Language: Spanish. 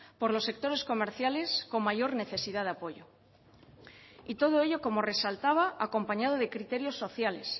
por los sectores comerciales con mayor necesidad de apoyo todo ello como resaltaba acompañado de criterios sociales